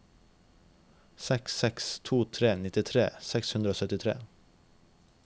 seks seks to tre nittitre seks hundre og syttitre